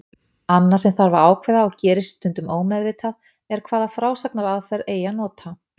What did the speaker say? Annað sem þarf að ákveða, og gerist stundum ómeðvitað, er hvaða frásagnaraðferð eigi að nota.